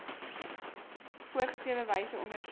voorgeskrewe wyse ondersoek